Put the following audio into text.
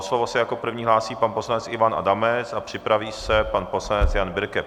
O slovo se jako první hlásí pan poslanec Ivan Adamec a připraví se pan poslanec Jan Birke.